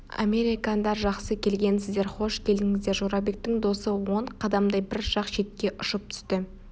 американдар жақсы келгенсіздер хош келдіңіздер жорабектің досы он қадамдай бір жақ шетке ұшып түсті